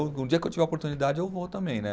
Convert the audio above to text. Um dia que eu tiver a oportunidade, eu vou também, né?